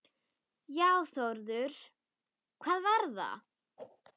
Já Þórður, hvað var það?